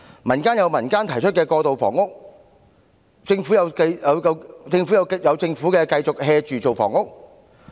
民間有民間提出過渡性房屋計劃，政府有政府繼續""着處理房屋問題。